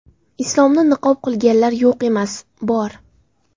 Islomni niqob qilganlar yo‘q emas, bor.